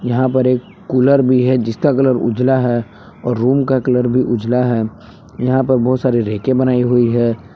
यहां पर एक कुलर भी है जिसका कलर उजला है और रूम का कलर भी उजला है यहां पर बहुत सारी रैके बनाई हुई है।